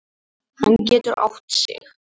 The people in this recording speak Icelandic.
Hann getur átt sig.